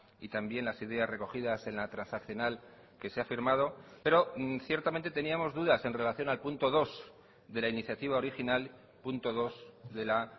y también las ideas recogidas en la transaccional que se ha firmado pero ciertamente teníamos dudas en relación al punto dos de la iniciativa original punto dos de la